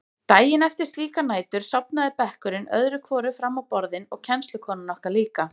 Daginn eftir slíkar nætur sofnaði bekkurinn öðru hvoru fram á borðin og kennslukonan okkar líka.